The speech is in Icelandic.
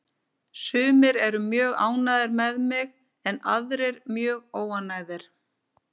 Sumir eru mjög ánægðir með mig en aðrir mjög óánægðir.